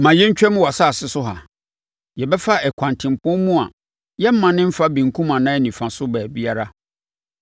“Ma yɛntwam wʼasase so ha. Yɛbɛfa ɛkwan tempɔn mu a yɛremmane mfa benkum anaa nifa so baabiara.